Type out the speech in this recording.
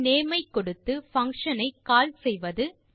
function name ஐ கொடுத்து function ஐ கால் செய்வது